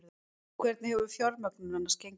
Hvernig hefur fjármögnun annars gengið?